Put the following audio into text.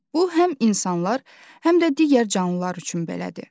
Bu həm insanlar, həm də digər canlılar üçün belədir.